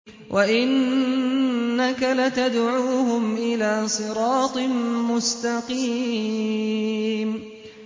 وَإِنَّكَ لَتَدْعُوهُمْ إِلَىٰ صِرَاطٍ مُّسْتَقِيمٍ